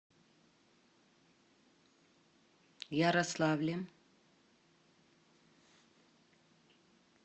ярославлем